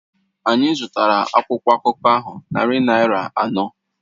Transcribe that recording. Anyị zụtara akwụkwọ akụkọ ahụ narị naira anọ